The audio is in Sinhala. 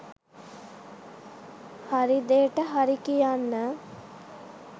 හරිදේට හරි කියන්න